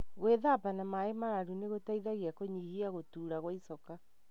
Gwithamba na maĩ mararu nĩgũteithagia kũnyihia gũtura kwa icoka.